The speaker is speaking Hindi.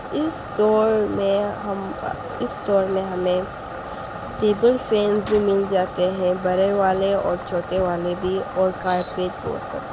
नॉइस इस स्टोर में हम इस स्टोर में हमे टेबल फैंस भी मिल जाते है बड़े वाले और छोटे वाले भी और कारपेट वो सब। नॉइस